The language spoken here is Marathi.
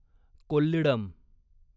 कोल्लिडम